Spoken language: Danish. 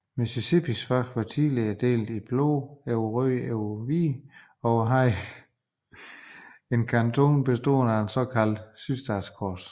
Mississippis flag var tidligere delt i blåt over hvidt over rødt og havde en kanton bestående af det såkaldte sydstatskors